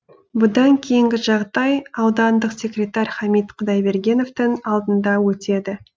бұдан кейінгі жағдай аудандық секретарь хамит құдайбергеновтің алдында өтеді